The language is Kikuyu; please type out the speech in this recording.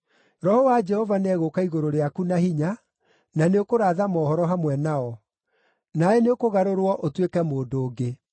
Roho wa Jehova nĩegũũka igũrũ rĩaku na hinya, na nĩũkũratha mohoro hamwe nao; nawe nĩũkũgarũrwo ũtuĩke mũndũ ũngĩ.